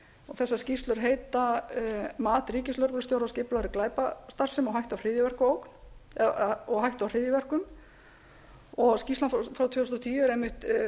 þessar skýrslur heita mat ríkislögreglustjóra á skipulagðri glæpastarfsemi og hætta á hryðjuverkum skýrslan frá tvö þúsund og tíu